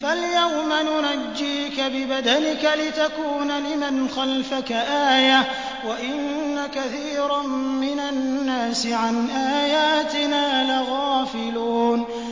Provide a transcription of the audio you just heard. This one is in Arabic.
فَالْيَوْمَ نُنَجِّيكَ بِبَدَنِكَ لِتَكُونَ لِمَنْ خَلْفَكَ آيَةً ۚ وَإِنَّ كَثِيرًا مِّنَ النَّاسِ عَنْ آيَاتِنَا لَغَافِلُونَ